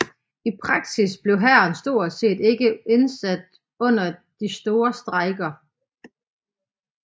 I praksis blev hæren stort set ikke indsat under de store strejker